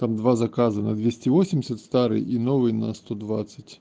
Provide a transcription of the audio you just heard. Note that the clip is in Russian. там два заказа на двести восемьдесят старый и новый на сто двадцать